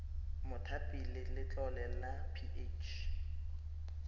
mothapi le letlole la ph